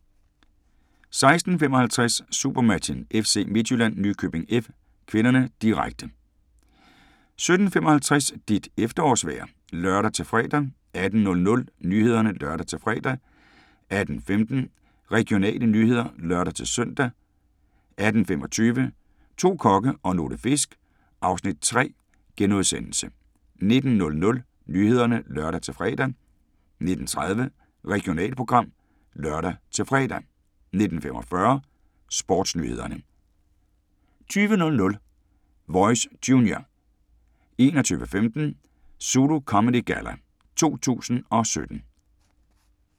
16:55: SuperMatchen: FC Midtjylland-Nykøbing F. (k), direkte 17:55: Dit efterårsvejr (lør-fre) 18:00: Nyhederne (lør-fre) 18:15: Regionale nyheder (lør-søn) 18:25: To kokke og nogle fisk (Afs. 3)* 19:00: Nyhederne (lør-fre) 19:30: Regionalprogram (lør-fre) 19:45: Sportsnyhederne 20:00: Voice Junior 21:15: ZULU Comedy Galla 2017